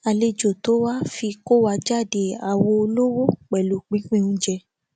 àlejò tó wá fi kó wa jáde àwo olówó pẹlú pínpín oúnjẹ